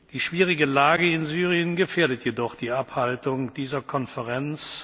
Die schwierige Lage in Syrien gefährdet jedoch die Abhaltung dieser Konferenz.